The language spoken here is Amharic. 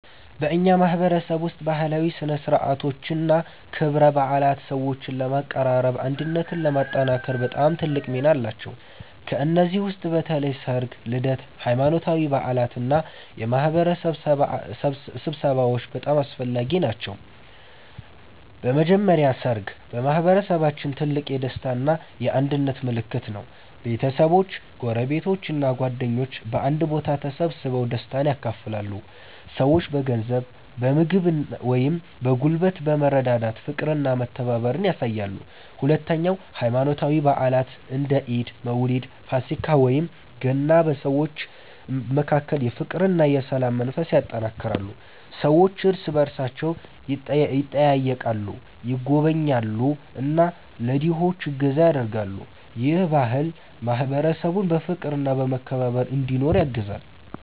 በእኛ ማህበረሰብ ውስጥ ባህላዊ ሥነ ሥርዓቶችና ክብረ በዓላት ሰዎችን ለማቀራረብና አንድነትን ለማጠናከር በጣም ትልቅ ሚና አላቸው። ከእነዚህ ውስጥ በተለይ ሠርግ፣ ልደት፣ ሃይማኖታዊ በዓላት እና የማህበረሰብ ስብሰባዎች በጣም አስፈላጊ ናቸው። በመጀመሪያ ሠርግ በማህበረሰባችን ትልቅ የደስታ እና የአንድነት ምልክት ነው። ቤተሰቦች፣ ጎረቤቶች እና ጓደኞች በአንድ ቦታ ተሰብስበው ደስታን ያካፍላሉ። ሰዎች በገንዘብ፣ በምግብ ወይም በጉልበት በመረዳዳት ፍቅርና መተባበርን ያሳያሉ። ሁለተኛ ሃይማኖታዊ በዓላት እንደ ኢድ፣ መውሊድ፣ ፋሲካ ወይም ገና በሰዎች መካከል የፍቅርና የሰላም መንፈስ ያጠናክራሉ። ሰዎች እርስ በእርሳቸው ይጠያየቃሉ፣ ይጎበኛሉ እና ለድሆች እገዛ ያደርጋሉ። ይህ ባህል ማህበረሰቡን በፍቅርና በመከባበር እንዲኖር ያግዛል።